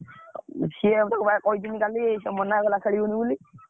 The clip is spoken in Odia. ସିଏ ବା ମୁଁ କହିଥିଲି କାଲି, ସେ ମନା କଲା ଖେଳିବନି ବୋଲି।